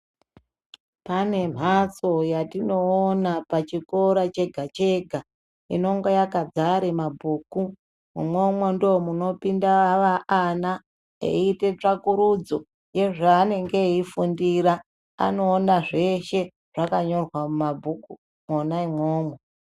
Pane mbatso yatinoona pazvikora chega chega inonga yakazara nemabhuku imwomwo ndoinopinda mwana inoita tsvakurudzo yezvanenge eifundira anoona zveshe zvinenge zvakanyorwa mumabhuku umomo.